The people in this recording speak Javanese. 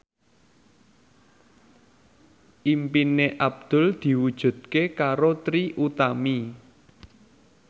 impine Abdul diwujudke karo Trie Utami